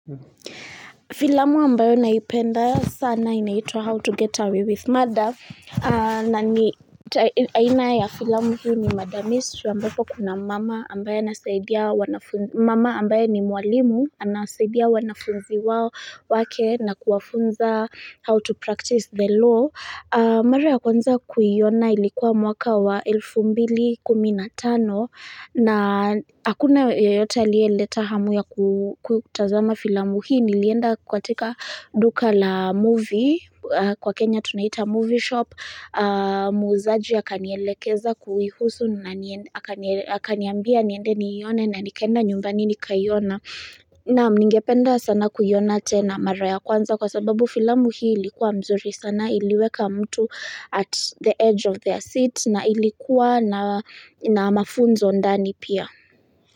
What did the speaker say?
Filamu ambayo naipenda sana inaitwa how to get away with murder na ni aina ya filamu hii ni murder mystery ambapo kuna mama ambaye ambaye ni mwalimu Anasaidia wanafunzi wake na kuwafunza how to practice the law mara ya kwanza kuiona ilikuwa mwaka wa elfu mbili kumi na tano na hakuna yeyote aliyeleta hamu ya kutazama filamu hii nilienda katika duka la movie kwa Kenya tunaita movie shop muuzaji akanielekeza kuihusu akaniambia niende niiyone na nikaenda nyumbani nikaiyona naam ningependa sana kuiyona tena mara ya kwanza kwa sababu filamu hii ilikuwa mzuri sana iliweka mtu at the edge of their seat na ilikuwa na mafunzo ndani pia.